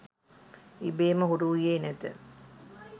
ඉබේම හුරු වූයේ නැත.